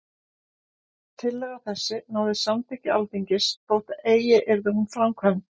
Tillaga þessi náði samþykki Alþingis, þótt eigi yrði hún framkvæmd.